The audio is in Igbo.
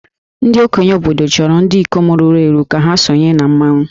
Ndị okenye obodo chọrọ ndị ikom ruru eru ka ha sonye na mmanwụ